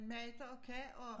Magter og kan og